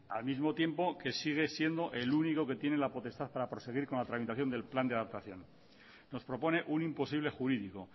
al mismo tiempo que sigue siendo el único que tiene la potestad para proseguir con la tramitación del plan de adaptación nos propone un imposible jurídico